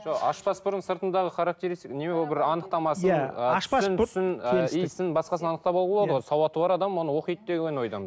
жоқ ашпас бұрын сыртындағы не бір анықтамасын иісін басқасын анықтап алуға болады ғой сауаты бар адам оны оқиды деген ойдамын